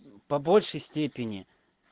по большей степени